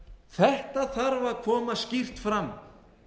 þetta þarf að koma skýrt fram